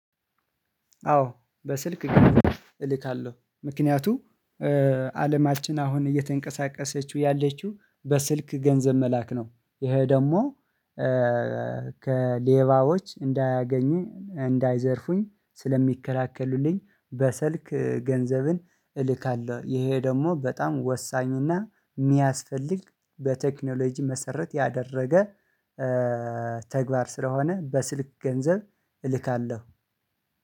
አዎ በስልክ እልካለሁ ምክንያቱም አለማችን እየተንቀሳቀሰችው ያለችው በስልክ ገንዘብ መላክ ነው። ከሌባዎች እንዳያገኙን እንዳይዘርፉን ስለሚከላከልልን በስልክ ገንዘቡን እልካለሁ። ይሄ ደግሞ በጣም ወሳኝ እና የሚያስፈልግ በቴክኖሎጂ መሰረት ያደረገ ተግባር ስለሆነ በስልክ ገንዘብ እንልካለን።